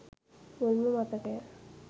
මුල්ම මතකය.